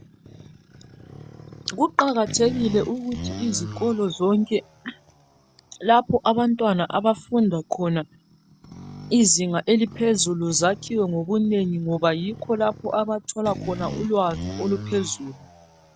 Kuqakathekile ukuthi izikolo zonke lapho abantwana abafunda khona iziga eliphezulu zakhiwe ngobunengi ngoba yikho lapho abathola khona ulwazi oluphezulu.